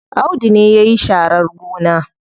Audu ne yayi sharar gona.